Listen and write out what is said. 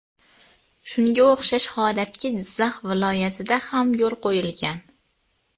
Shunga o‘xshash holatga Jizzax viloyatida ham yo‘l qo‘yilgan.